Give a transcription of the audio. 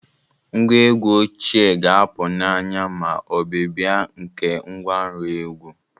Ngwa egwu ochie ga-apụ n'anya ma ọbịbịa nke ngwanro egwu